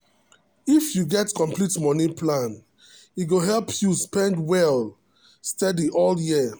if you get complete money plan e go help you spend well steady all year.